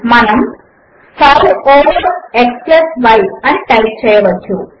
మనము 5 over x y అని type చేయవచ్చు